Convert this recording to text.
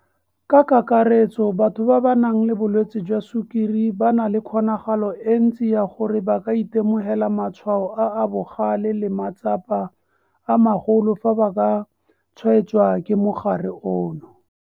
Ka kakaretso, batho ba ba nang le bolwetse jwa sukiri ba na le kgonagalo e ntsi ya gore ba ka itemogela matshwao a a bogale le matsapa a magolo fa ba ka tshwaetswa ke mogare ono.